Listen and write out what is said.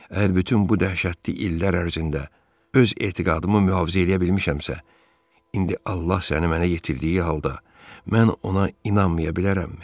Əgər bütün bu dəhşətli illər ərzində öz etiqadımı mühafizə eləyə bilmişəmsə, indi Allah səni mənə yetirdiyi halda mən ona inanmaya bilərəmmi?